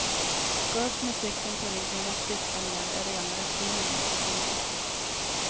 Gå upp med cykeln på ryggen och cykla ned är rena rutinen nu för tiden.